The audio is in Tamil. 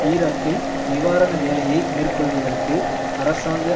ஈராக்கில் நிவாரண வேலையை மேற்கொள்வதற்கு அரசாங்க